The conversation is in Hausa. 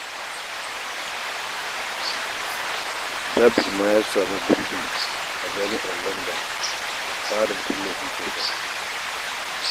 Nasir ma ya samu gurbi a jami'ar Landan a tsarin ilimi kyauta